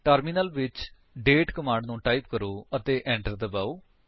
terminal ਵਿੱਚ date command ਨੂੰ type ਕਰੋ ਅਤੇ enter ਦਬਾਓ